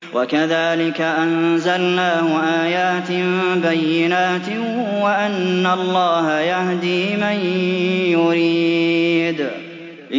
وَكَذَٰلِكَ أَنزَلْنَاهُ آيَاتٍ بَيِّنَاتٍ وَأَنَّ اللَّهَ يَهْدِي مَن يُرِيدُ